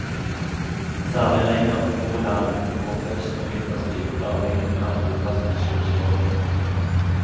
Særlig lenger nord i landet, og om høsten og vinterstid er vinden mer trofast enn solstrålene.